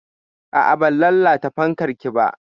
A'a, ban lalata fankar ki ba.